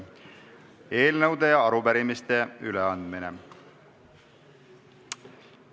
Eelnõude ja arupärimiste üleandmine.